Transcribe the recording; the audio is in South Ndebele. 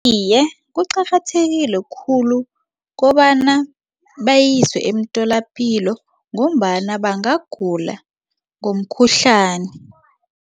Iye, kuqakathekile khulu kobana bayiswe emtholapilo ngombana bangagula ngomkhuhlani.